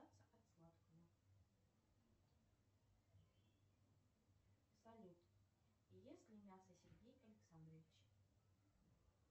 салют ест ли мясо сергей александрович